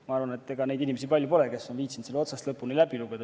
Ma arvan, et ega neid inimesi palju ole, kes on viitsinud selle otsast lõpuni läbi lugeda.